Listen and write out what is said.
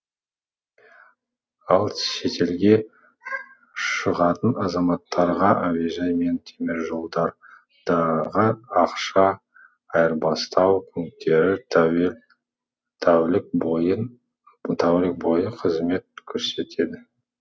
ал шетелге шығатын азаматтарға әуежай мен теміржолдар дағы ақша айырбастау пунктері тәулік бойы қызмет көрсетеді